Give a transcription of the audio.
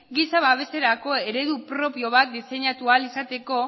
giza babeserako eredu propio bat diseinatu ahal izateko